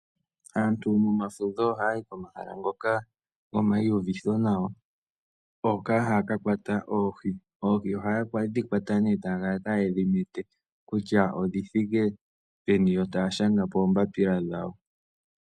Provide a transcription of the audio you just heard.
Aantu momafudho ohayi komahala ngoka gomayiuvitho nawa hoka haya ka kwata oohi ,oohi ohayedhi kwata eta ya mete kutya odhithike peni yo taashanga poombapila .